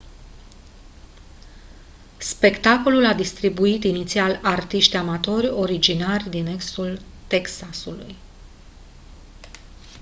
spectacolul a distribuit inițial artiști amatori originari din estul texasului